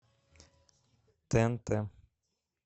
тнт